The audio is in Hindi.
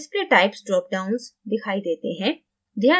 display types drop downs दिखाई देते हैं